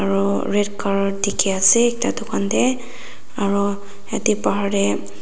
Aro red corer dekhe ase ekta tugan tey aro yate pahar tey--